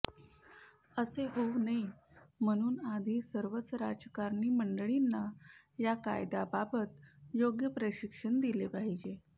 असे होऊ नये म्हणून आधी सर्वच राजकारणी मंडळींना या कायद्याबाबत योग्य प्रशिक्षण दिले पाहिजे